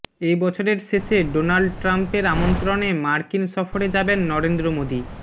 এবছরের শেষে ডোনাল্ড ট্রাম্পের আমন্ত্রণে মার্কিন সফরে যাবেন নরেন্দ্র মোদী